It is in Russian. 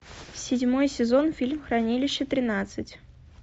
седьмой сезон фильм хранилище тринадцать